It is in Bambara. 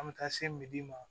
An bɛ taa se midi ma